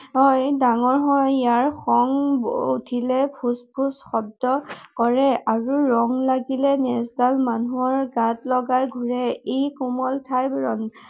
হয়, ডাঙৰ হয়। ইয়াৰ খং উঠিলে ফোঁচ ফোঁচ শব্দ কৰে আৰু ৰং লাগিলে নেঁজডাল মানুহৰ গাত লগাই ঘূৰে। ই কোমল ঠাইবোৰত